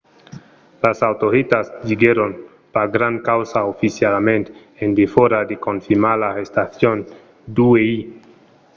las autoritats diguèron pas grand causa oficialament en defòra de confirmar l’arrestacion d’uèi